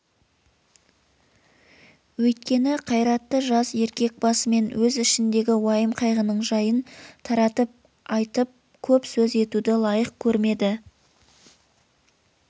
өйткені қайратты жас еркек басымен өз ішіндегі уайым-қайғының жайын таратып айтып көп сөз етуді лайық көрмеді